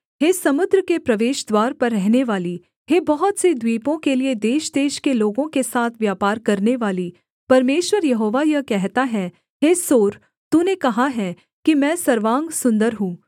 हे समुद्र के प्रवेशद्वार पर रहनेवाली हे बहुत से द्वीपों के लिये देशदेश के लोगों के साथ व्यापार करनेवाली परमेश्वर यहोवा यह कहता है हे सोर तूने कहा है कि मैं सर्वांग सुन्दर हूँ